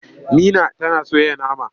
Nina tana soya nama.